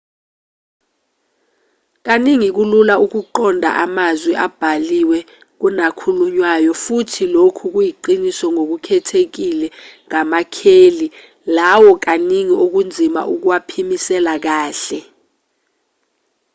kaningi kulula ukuqonda amazwi abhaliwe kunakhulunywayo futhi lokhu kuyiqiniso ngokukhethekile ngamakheli lawo kaningi okunzima ukuwaphimisela kahle